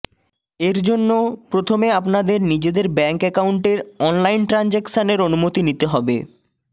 এর জন্য প্রথমে আপনাদের নিজেদের ব্যাঙ্ক অ্যাকাউন্টের অনলাইন ট্র্যাঞ্জাকশানের অনুমতি নিতে হবে